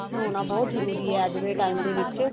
ਹੋਣਾ ਬਹੁਤ ਜਰੂਰੀ ਹੈ ਅੱਜ ਦੇ time ਦੇ ਵਿੱਚ